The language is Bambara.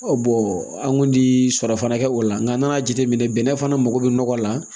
bɔn an kun tɛ sɔrɔ fana kɛ o la nka nan'a jateminɛ bɛnɛ fana mago bɛ nɔgɔ la